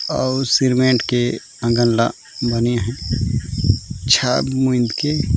और सीमेंट के आँगन ला बानी हे छात मुन के --